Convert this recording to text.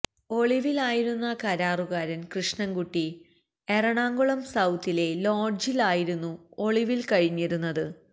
ഒളിവിലായിരുന്ന കരാറുകാരൻ കൃഷ്ണൻകുട്ടി എറണാകുളം സൌത്തിലെ ലോഡ്ജിൽ ആയിരുന്നു ഒളിവിൽ കഴിഞ്ഞിരുന്നത്